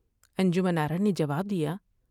انجمن آرا نے جواب دیا ۔